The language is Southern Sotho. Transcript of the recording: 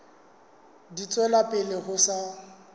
di tswela pele ho sa